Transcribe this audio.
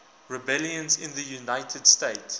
rebellions in the united states